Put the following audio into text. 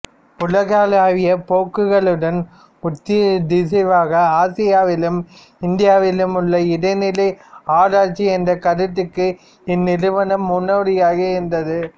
உலகளாவிய போக்குகளுடன் ஒத்திசைவாக ஆசியாவிலும் இந்தியாவிலும் உள்ள இடைநிலை ஆராய்ச்சி என்ற கருத்துக்கு இந்த நிறுவனம் முன்னோடியாக இருந்தது